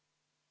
Aitäh!